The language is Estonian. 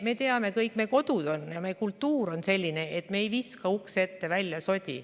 Meie kodu ja meie kultuur on selline, et me ei viska sodi ukse ette, välja.